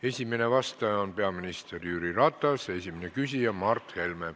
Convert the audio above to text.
Esimene vastaja on peaminister Jüri Ratas, esimene küsija Mart Helme.